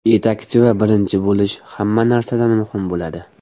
Yetakchi va birinchi bo‘lish hamma narsadan muhim bo‘ladi.